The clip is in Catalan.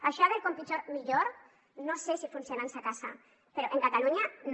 això del com pitjor millor no sé si funciona en sa casa però en catalunya no